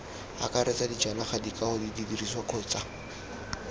akaretsa dijanaga dikago didirisiwa kgotsa